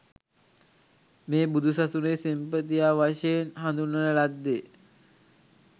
මේ බුදුසසුනේ සෙන්පතියා වශයෙන් හඳුන්වන ලද්දේ